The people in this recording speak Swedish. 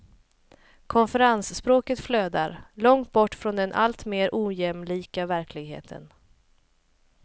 Konferensspråket flödar, långt bort från den alltmer ojämlika verkligheten.